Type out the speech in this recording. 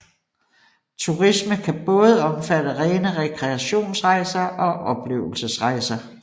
Turisme kan både omfatte rene rekreationsrejser og oplevelsesrejser